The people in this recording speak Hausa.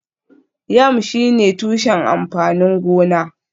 Yam shine tushen amfanin gona